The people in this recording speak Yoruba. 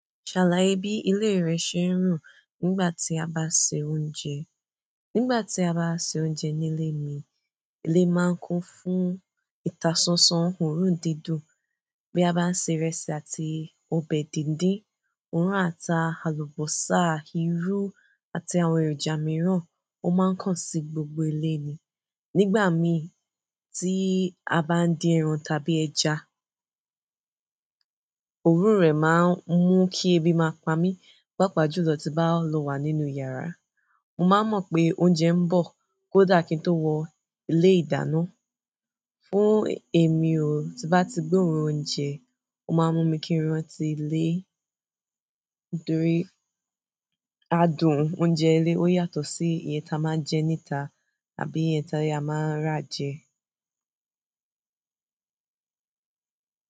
Ṣàlàye bí ilé rẹ ṣe ń rùn nígbà tí a bá se oúnjẹ. Nígbà tí a bá ṣe oúnjẹ ní ilé mi, ilé máa ń kún fún ìtàsánsán oòrùn dídùn bí a bá ń se ìrẹsì àti ọbẹ̀ díndín. Oòrùn ata, àlùbọ́sà, irú àti àwọn èròjà mìíràn ó máa ń kàn sí gbogbo ilé ni. Nígbà mi tí a bá ń dín ẹran tàbí ẹja, òrun rẹ̀ máa ń mú kí ebi máa pamí, pàápàá jùlọ tí bá lọ wà nínú yàrá. Mo máa mọ̀ pé oúnjẹ ń bọ̀ kódà kí n tó wọ ilé ìdáná. Fún èmi o, tí bá ti gbé òórùn oúnjẹ, ó máa ń mú mi kíran tí ilé adùn oúnjẹ ilé ó yàtọ̀ sí iye tí a máa ń jẹ níta àbí iye tí a máa ń rà jẹ.